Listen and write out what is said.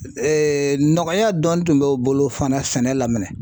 nɔgɔya dɔɔnin tun b'o bolo fana sɛnɛ la mɛnɛ.